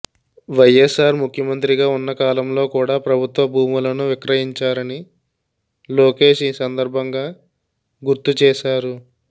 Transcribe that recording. వైఎస్ఆర్ ముఖ్యమంత్రిగా ఉన్న కాలంలో కూడ ప్రభుత్వ భూములను విక్రయించారని లోకేష్ ఈ సందర్భంగా గుర్తు చేశారు